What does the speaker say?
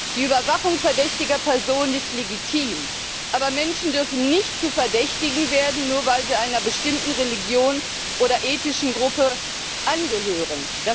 Die Überwachung verdächtiger Personen ist legitim, aber Menschen dürfen nicht zu Verdächtigen werden, nur weil sie einer bestimmten Religion oder ethnischen Gruppe angehören.